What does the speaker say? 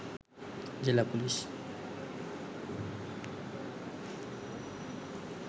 জেলা পুলিশ